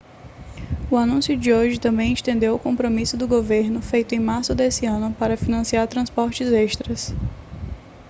o anúncio de hoje também estendeu o compromisso do governo feito em março desse ano para financiar transportes extras